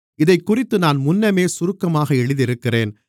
இதைக்குறித்து நான் முன்னமே சுருக்கமாக எழுதியிருக்கிறேன்